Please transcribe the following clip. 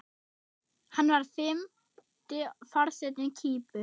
Hann var fimmti forseti Kýpur.